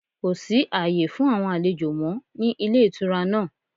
Kò sí àyè fún àwon àlejò mọ́ ní Ilé Ìtura náà